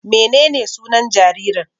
Menene sunan jaririn?